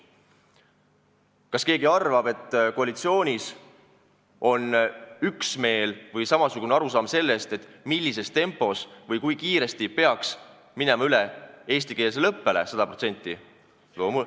Kas keegi arvab, et koalitsioonis on üksmeel või ühesugune arusaam sellest, millises tempos või kui kiiresti peaks minema sajaprotsendiliselt üle eestikeelsele õppele?